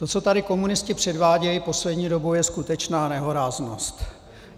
To, co tady komunisti předvádějí poslední dobou, je skutečná nehoráznost.